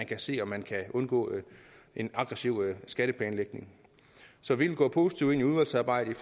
kan se om man kan undgå en aggressiv skatteplanlægning så vi vil gå positivt ind i udvalgsarbejdet i